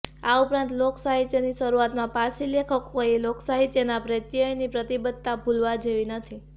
આ ઉપરાંત લોકસાહિત્યની શરૂઆમાં પારસી લેખકોએ લોકસાહિત્ય પ્રેત્યેની પ્રતિબદ્ધતા ભૂલવા જેવી નથી